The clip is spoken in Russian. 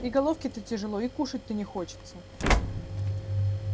и головке-то тяжело и кушать-то не хочется